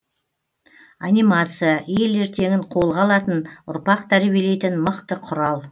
анимация ел ертеңін қолға алатын ұрпақ тәрбиелейтін мықты құрал